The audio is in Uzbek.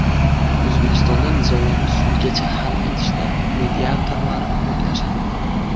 O‘zbekistonda nizolarni sudgacha hal etishda mediatorlar ko‘maklashadi.